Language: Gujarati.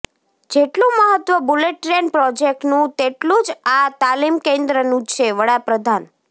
જેટલું મહત્ત્વ બુલેટ ટ્રેન પ્રોજેક્ટનું તેટલું જ આ તાલીમ કેન્દ્રનું છેઃ વડા પ્રધાન